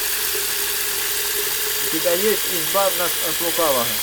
у тебя есть избавь нас от лукавого